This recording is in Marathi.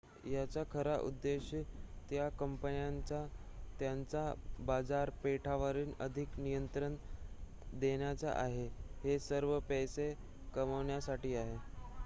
याचा खरा उद्देश त्या कंपन्यांना त्यांच्या बाजारपेठांवर अधिक नियंत्रण देण्याचा आहे हे सर्व पैसे कमवण्यासाठी आहे